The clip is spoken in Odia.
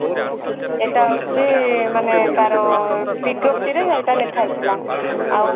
ଏଟା ହୋଉଛି ମାନେ ତାର ବିଜ୍ଞପ୍ତିରେ ମାନେ ଏଇଟା ଲେଖା ହେଇଥିଲା ଆଉ